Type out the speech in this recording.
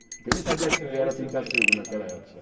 Eu nem sabia se ele era Pintassílgo naquela época.